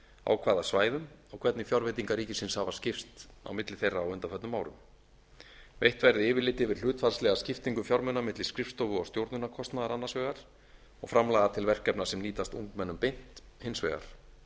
á hvaða svæðum og hvernig fjárveitingar ríkisins hafa skipst á milli þeirra á undanförnum árum veitt verði yfirlit yfir hlutfallslega skiptingu fjármuna milli skrifstofu og stjórnunarkostnaðar annars vegar og framlaga til verkefna sem nýtast ungmennum beint hins vegar